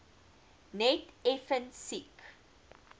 net effens siek